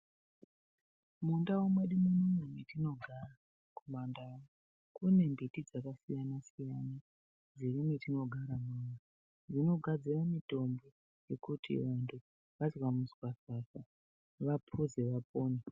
Mundau mwedu munomu mwetinogara kumandau kune mbiti dzakasiyana siyana dziri mwetinogara munomu dzinogadzira mitombo yekuti vantu vazwa muswafafa vapuze vapone.